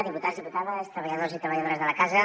diputats diputades treballadors i treballadores de la casa